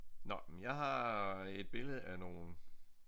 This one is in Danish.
Nåh men jeg har et billede af nogle